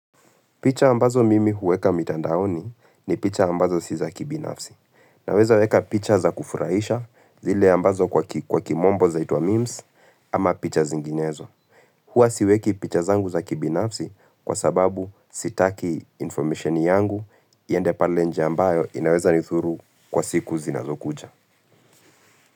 Picha ambazo mimi huweka mitandaoni ni picha ambazo si za kibinafsi. Naweza weka picha za kufurahisha zile ambazo kwa kimombo zaitwa memes ama picha zinginezo. Huwa siweki picha zangu za kibinafsi kwa sababu sitaki information yangu iende pale nje ambayo inaweza nidhuru kwa siku zinazo kuja.